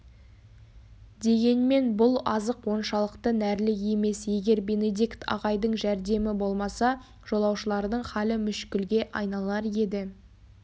дегенмен бұл азық оншалықты нәрлі емес егер бенедикт ағайдың жәрдемі болмаса жолаушылардың халі мүшкілге айналар еді